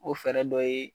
O fɛɛrɛ dɔ ye